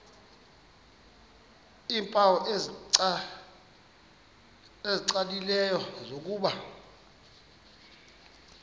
iimpawu ezicacileyo zokuba